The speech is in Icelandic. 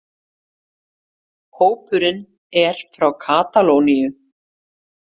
Hópurinn er frá Katalóníu